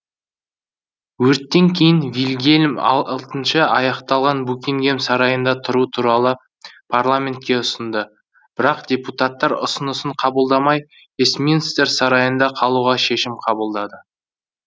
өрттен кейін вильгельм алтыншы аяқталған букингем сарайында тұру туралы парламентке ұсынды бірақ депутаттар үсынысын қабылдамай вестминстер сарайында қалуға шешім қабылдады